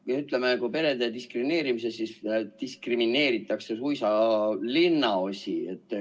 Noh, ütleme, et perede kõrval diskrimineeritakse suisa linnaosi.